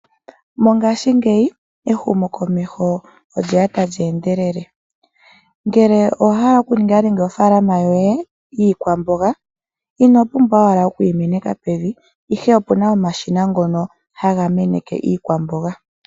Mongaashingeyi ehumokomeho olye ya tali endelele. Ngele owa hala okuninga ofaalama yoye yiikwamboga ino pumbwa owala okuyi meneka pevi, ihe oku na omashina ngono haga meneke iikwamboga.